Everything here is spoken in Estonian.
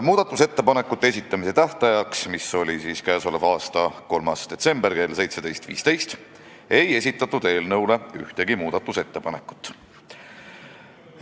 Muudatusettepanekute esitamise tähtajaks, mis oli k.a 3. detsember kell 17.15, ei esitatud ühtegi ettepanekut.